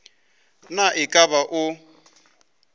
na e ka ba o